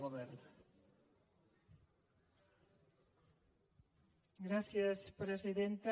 gràcies presidenta